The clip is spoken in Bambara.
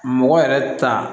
Mɔgɔ yɛrɛ ta